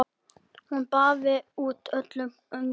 Hún baðaði út öllum öngum.